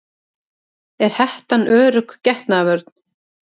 Er hettan örugg getnaðarvörn?